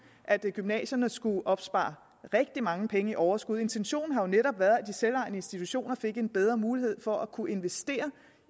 at gymnasierne skulle opspare rigtig mange penge i overskud intentionen har jo netop været at de selvejende institutioner fik en bedre mulighed for at kunne investere